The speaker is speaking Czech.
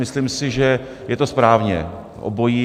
Myslím si, že je to správně, obojí.